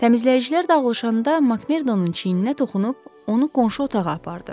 Təmizləyicilər dağılışanda MakMordonun çiyninə toxunub onu qonşu otağa apardı.